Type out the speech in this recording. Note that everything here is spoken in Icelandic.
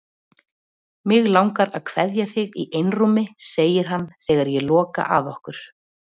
Mig langar að kveðja þig í einrúmi, segir hann þegar ég loka að okkur.